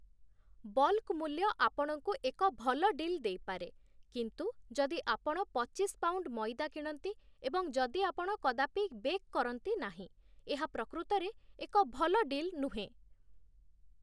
Bulk ମୂଲ୍ୟ ଆପଣଙ୍କୁ ଏକ ଭଲ ଡିଲ୍ ଦେଇପାରେ, କିନ୍ତୁ ଯଦି ଆପଣ ପଚିଶ ପାଉଣ୍ଡ ମଇଦା କିଣନ୍ତି ଏବଂ ଯଦି ଆପଣ କଦାପି ବେକ୍ କରନ୍ତି ନାହିଁ, ଏହା ପ୍ରକୃତରେ ଏକ ଭଲ ଡିଲ୍ ନୁହେଁ ।